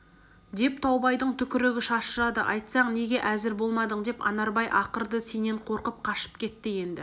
деп таубайдың түкірігі шашырады айтсаң неге әзір болмадың деп анарбай ақырды сенен қорқып қашып кетті енді